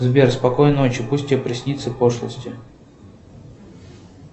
сбер спокойной ночи пусть тебе приснятся пошлости